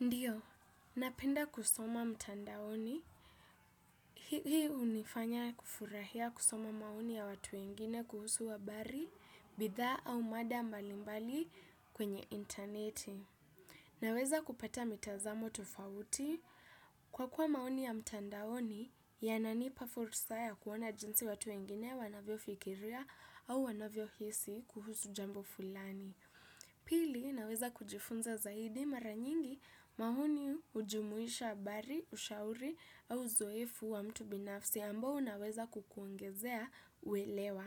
Ndiyo, napenda kusoma mtandaoni. Hii hunifanya kufurahia kusoma maoni ya watu wengine kuhusu habari, bidhaa au mada mbalimbali kwenye intaneti. Ninaweza kupata mitazamo tofauti kwa kuwa maoni ya mtandaoni yananipa fursa ya kuona jinsi watu wengine wanavyofikiria au wanavyohisi kuhusu jambo fulani. Pili, ninaweza kujifunza zaidi mara nyingi maoni hujumuisha habari, ushauri au uzoefu wa mtu binafsi ambao unaweza kukuongezea uelewa.